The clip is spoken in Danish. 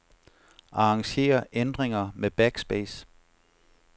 Arranger ændringer med backspace.